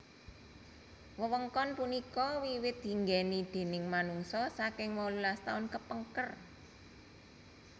Wewengkon punika wiwit dinggèni déning manungsa saking wolulas taun kepengker